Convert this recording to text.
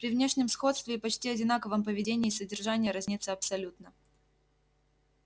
при внешнем сходстве и почти одинаковом поведении содержание разнится абсолютно